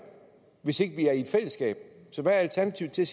hvis ikke vi er i et fællesskab så hvad er alternativet til